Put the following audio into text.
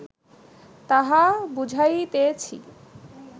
তাহা বুঝাইতেছি